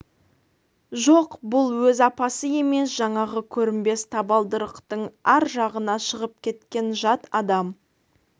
жоқ бұл өз апасы емес жаңағы көрінбес табалдырықтың ар жағына шығып кеткен жат адам